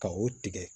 Ka o tigɛ